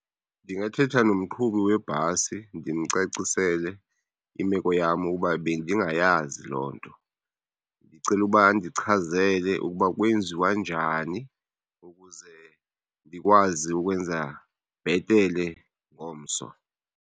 Ndingathetha nomqhubi webhasi ndimcacisele imeko yam ukuba bendingayazi loo nto, ndicela uba andichazele ukuba kwenziwa njani ukuze ndikwazi ukwenza bhetele ngomso.